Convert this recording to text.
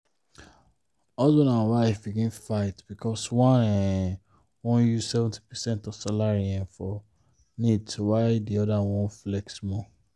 husband and wife begin fight because one um wan use 70 percent of salary um for needs while the other wan flex small.